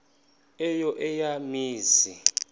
eyo eya mizi